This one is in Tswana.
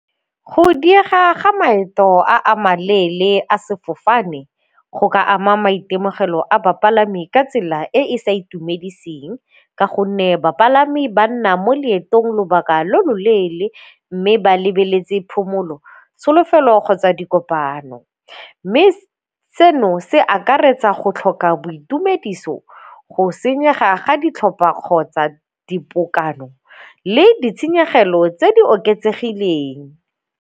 Go diega ga maeto a a maleele a sefofane go ka ama maitemogelo a bapalami ka tsela e e sa itumediseng ka gonne bapalami ba nna mo leetong lobaka lo loleele mme ba lebeletse phomolo, tsholofelo kgotsa dikopano. Mme seno se akaretsa go tlhoka boitumediso, go senyega ga ditlhopa kgotsa dipokano le ditshenyegelo tse di oketsegileng.